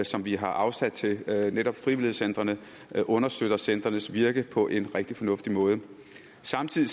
som vi har afsat til netop frivilligcentrene understøtter centrenes virke på en rigtig fornuftig måde samtidig